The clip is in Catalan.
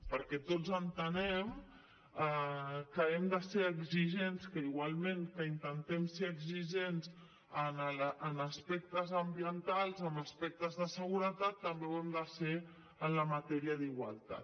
perquè tots entenem que hem de ser exigents que igualment que intentem ser exigents en aspectes ambientals en aspectes de seguretat també ho hem de ser en la matèria d’igualtat